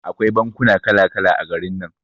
Akwai bankuna kala kala a garin nan.